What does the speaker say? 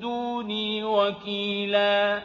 دُونِي وَكِيلًا